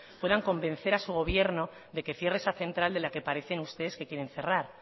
puedan convencer a su gobierno de que cierre esa central de la que parecen ustedes que quieren cerrar